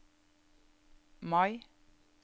Mai